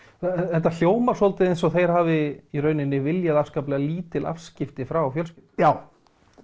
þetta hjómar svolítið eins og þau hafi viljað afskaplega lítil afskipti frá fjölskyldunni já